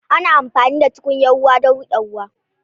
Ana amfani da tukunya ruwa don riƙe ruwa.